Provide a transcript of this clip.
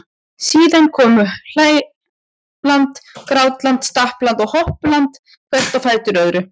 Síðan komu hlæland, grátland, stappland og hoppland hvert á fætur öðru.